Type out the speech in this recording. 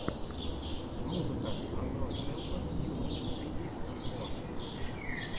музыка андройдхэлпер юнитиссриди энд мор